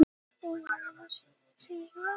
Ekki tími til að fagna